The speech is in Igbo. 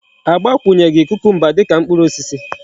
Agbakwunyeghi kucumber dika mkpuru osisi